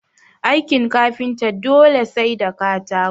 Aikin kafinta dole sai da katako